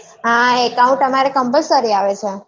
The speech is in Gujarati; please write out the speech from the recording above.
હા account અમારે compulsory આવે છે